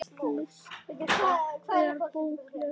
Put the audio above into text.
List er bókleg iðkun sögð.